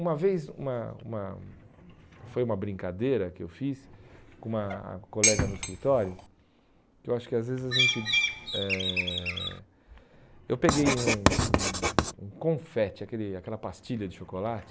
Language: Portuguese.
Uma vez, uma uma foi uma brincadeira que eu fiz com uma colega no escritório, que eu acho que às vezes a gente... Eh eu peguei um um um confete, aquele aquela pastilha de chocolate,